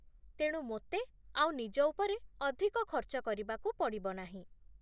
ତେଣୁ ମୋତେ ଆଉ ନିଜ ଉପରେ ଅଧିକ ଖର୍ଚ୍ଚ କରିବାକୁ ପଡ଼ିବ ନାହିଁ